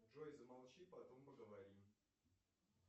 джой замолчи потом поговорим